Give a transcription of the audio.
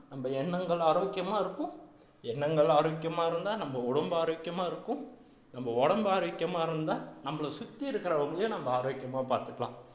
நம்ம எண்ணங்கள் ஆரோக்கியமா இருக்கும் எண்ணங்கள் ஆரோக்கியமா இருந்தா நம்ம உடம்பு ஆரோக்கியமா இருக்கும் நம்ம உடம்பு ஆரோக்கியமா இருந்தா நம்மள சுத்தி இருக்கிறவங்களையும் நம்ம ஆரோக்கியமா பாத்துக்கலாம்